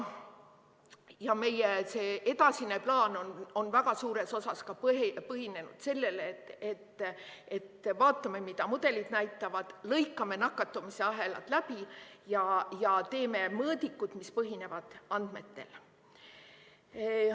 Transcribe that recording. Ja meie edasine plaan on väga suures osas põhinenud sellel, et vaatame, mida mudelid näitavad, lõikame nakatumisahelad läbi ja teeme mõõdikud, mis põhinevad andmetel.